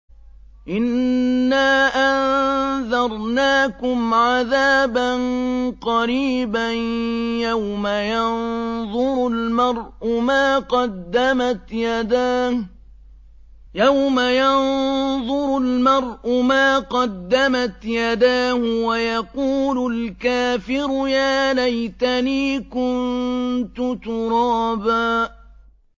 إِنَّا أَنذَرْنَاكُمْ عَذَابًا قَرِيبًا يَوْمَ يَنظُرُ الْمَرْءُ مَا قَدَّمَتْ يَدَاهُ وَيَقُولُ الْكَافِرُ يَا لَيْتَنِي كُنتُ تُرَابًا